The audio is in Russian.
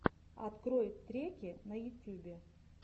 открой треки в ютюбе